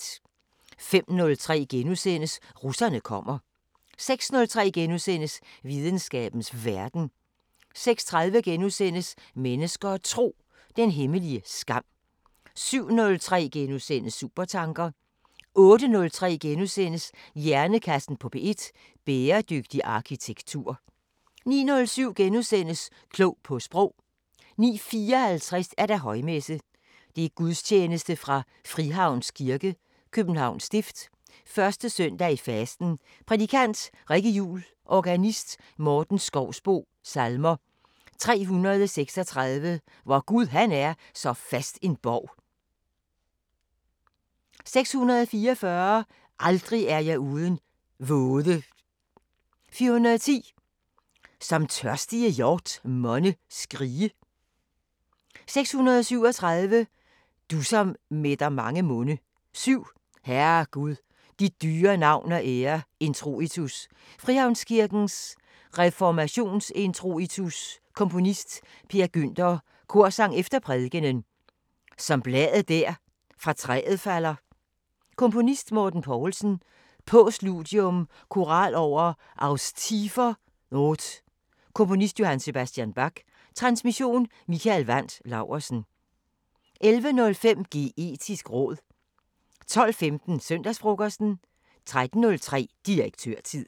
05:03: Russerne kommer * 06:03: Videnskabens Verden * 06:30: Mennesker og Tro: Den hemmelige skam * 07:03: Supertanker * 08:03: Hjernekassen på P1: Bæredygtig arkitektur * 09:07: Klog på Sprog * 09:54: Højmesse - Gudstjeneste fra Frihavns Kirke, Københavns Stift. 1. søndag i fasten Prædikant: Rikke Juul Organist: Morten Schousboe Salmer: 336: Vor Gud han er så fast en borg 644: Aldrig er jeg uden våde 410: Som tørstige hjort monne skrige 637: Du som mætter mange munde 7: Herre Gud, dit dyre navn og ære Introitus: Frihavnskirkens reformationsintroitus Komponist: Per Günther Korsang efter prædikenen Som bladet der fra træet falder. Komponist: Morten Poulsen Postludium: Koral over Aus tiefer not Komponist: J. S. Bach Transmission: Mikael Wandt Laursen 11:05: Geetisk råd 12:15: Søndagsfrokosten 13:03: Direktørtid